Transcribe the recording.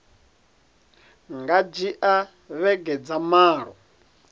nga dzhia vhege dza malo